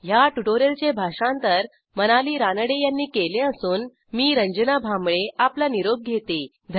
ह्या ट्युटोरियलचे भाषांतर मनाली रानडे यांनी केले असून मी आपला निरोप घेते160